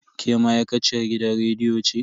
Ke ma'aikaciyar gidan rediyo ce?